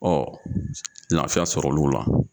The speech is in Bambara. laafiya sɔrɔ l'u la.